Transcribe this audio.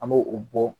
An b'o o bɔ